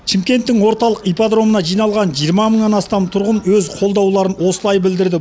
шымкенттің орталық ипподромына жиналған жиырма мыңнан астам тұрғын өз қолдауларын осылай білдірді